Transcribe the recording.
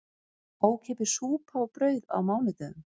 Ókeypis súpa og brauð á mánudögum